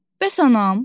Bəs anam?